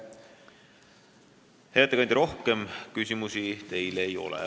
Hea ettekandja, rohkem küsimusi teile ei ole.